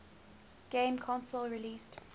game console released